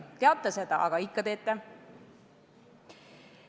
Teate seda, aga ikka teete.